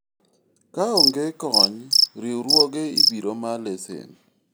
kaonge kony, riwruoge ibiro ma lesen